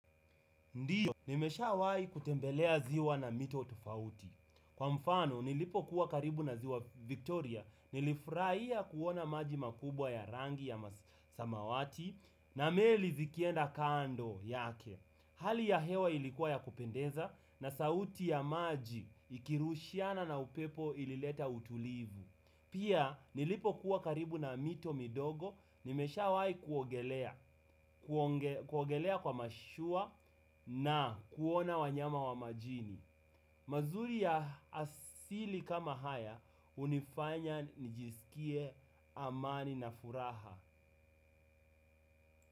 Ndiyo nimeshawai kutembelea ziwa na mito tofauti. Kwa mfano nilipokuwa karibu na ziwa Victoria nilifuraia kuona maji makubwa ya rangi ya masamawati na meli zikienda kando yake. Hali ya hewa ilikuwa ya kupendeza na sauti ya maji ikirushiana na upepo ilileta utulivu. Pia nilipokuwa karibu na mito midogo nimeshawai kuogelea kwa mashua na kuona wanyama wa majini. Mazuri ya asili kama haya unifanya nijisikie amani na furaha.